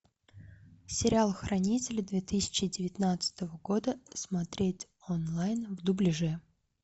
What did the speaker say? сериал хранители две тысячи девятнадцатого года смотреть онлайн в дубляже